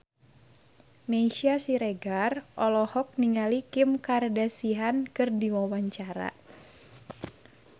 Meisya Siregar olohok ningali Kim Kardashian keur diwawancara